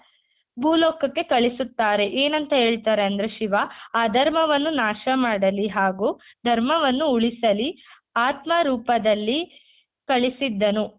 ಭೂ ಲೋಕಕ್ಕೆ ಕಳಿಸುತ್ತಾರೆ ಏನಂತ ಹೇಳ್ತಾರೆ ಅಂದ್ರೆ ಶಿವ ಅಧರ್ಮವನ್ನು ನಾಶ ಮಾಡಲಿ ಹಾಗೂ ಧರ್ಮವನ್ನು ಉಳಿಸಲಿ ಆತ್ಮ ರೂಪದಲ್ಲಿ ಕಳಿಸಿದ್ದನು .